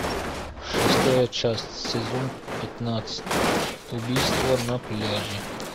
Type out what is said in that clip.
шестая часть сезон пятнадцать убийство на пляже